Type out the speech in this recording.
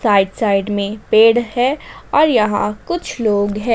Right side में पेड़ है और यहां कुछ लोग है ।